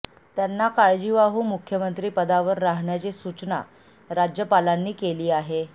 त्यांना काळजीवाहू मुख्यमंत्री पदावर राहण्याची सूचना राज्यपालांनी केली आहे